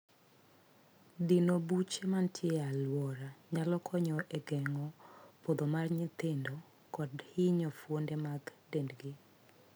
Dino buche mantie e aluora nyalo konyo e geng'o podho mar nyithindo kod hinyo fuonde mag dendgi.